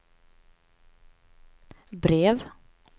brev